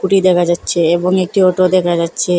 scooty দেখা যাচ্ছে এবং একটি অটো দেখা যাচ্ছে